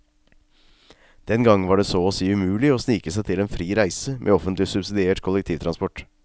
Den gang var det så å si umulig å snike seg til en fri reise med offentlig subsidiert kollektivtransport.